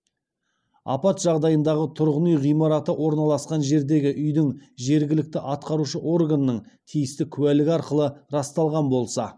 апат жағдайындағы тұрғын үй ғимараты орналасқан жердегі үйінің жергілікті атқарушы органның тиісті куәлігі арқылы расталған болса